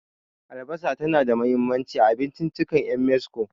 Albasa tana da mahimmanci a abinciccikan 'yan Mexico.